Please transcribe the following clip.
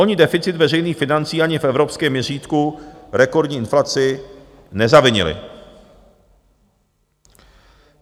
Oni deficit veřejných financí ani v evropském měřítku rekordní inflaci nezavinili.